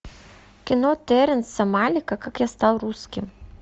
кино теренса малика как я стал русским